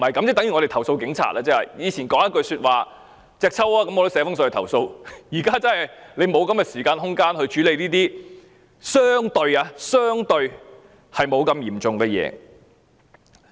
以前警察說一句："隻揪"，我都會寫信投訴，但現在我們已沒有時間和空間處理這些相對不太嚴重的事。